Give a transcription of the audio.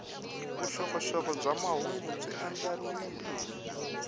vuxokoxoko bya mahungu byi andlariwile